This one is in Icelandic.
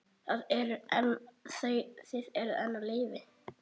Þið eruð enn á lífi!